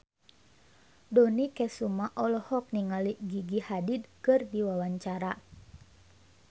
Dony Kesuma olohok ningali Gigi Hadid keur diwawancara